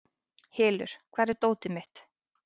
Hylur, hvar er dótið mitt?